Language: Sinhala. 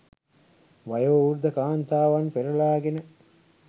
වයෝවෘද්ධ කාන්තාවන් පෙරලාගෙන